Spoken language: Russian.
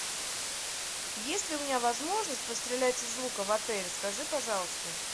есть ли у меня возможность пострелять из лука в отеле скажи пожалуйста